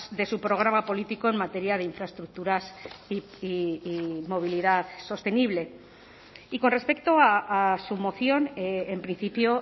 de su programa político en materia de infraestructuras y movilidad sostenible y con respecto a su moción en principio